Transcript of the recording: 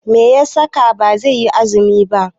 Meya saka baiyi azumi ba yau?